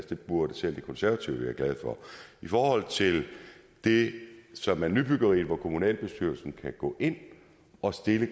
det burde selv de konservative være glade for i forhold til det som er nybyggeri og hvor kommunalbestyrelsen kan gå ind og stille